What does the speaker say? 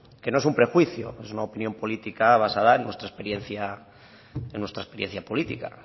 que no es un prejuicio que es una opinión política basada en nuestra experiencia política